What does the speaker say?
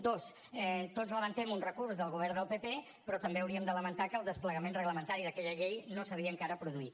dos tots lamentem un recurs del govern del pp però també hauríem de lamentar que el desplegament reglamentari d’aquella llei no s’havia encara produït